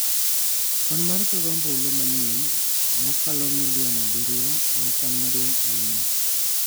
Kwan mar jogo ombulu manyien makalo milion abiriyo en kwan maduong' ahinya.